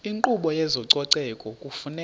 inkqubo yezococeko kufuneka